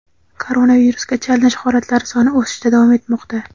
koronavirusga chalinish holatlari soni o‘sishda davom etmoqda.